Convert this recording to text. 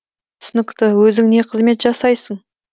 түсінікті өзің не қызмет жасайсың